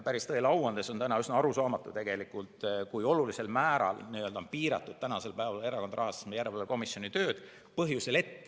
Tõele au andes on üsna arusaamatu, kui olulisel määral on piiratud Erakondade Rahastamise Järelevalve Komisjoni tööd.